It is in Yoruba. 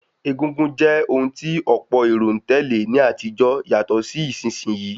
Egúngún jẹ́ ohun tí ọ̀pọ̀ èrò n tèlé ní àtijó yàtọ̀ sí ìsinsìn yii